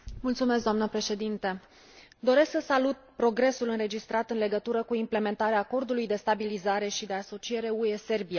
Doamnă președintă, doresc să salut progresul înregistrat în legătură cu implementarea Acordului de stabilizare și de asociere UE Serbia.